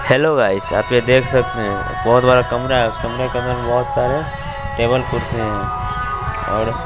Hello guys आप ये देख सकते है बहुत बड़ा कमरा है उस कमरे के अंदर बहोत सारे टेबल कुर्सी है और।